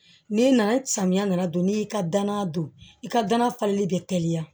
N'i nana samiya nana don n'i y'i ka danaya don i ka dana falen bɛ teliya